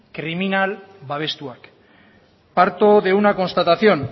kriminal babestuak parto de una constatación